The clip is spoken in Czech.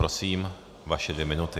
Prosím, vaše dvě minuty.